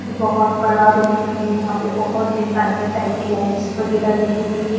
बहुत बड़ा रूम है यहां पे बहुत डिजाइनर टाइप की लाइट्स वगैरह लगी हुई है।